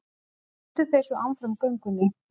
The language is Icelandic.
Héldu þeir svo áfram göngunni.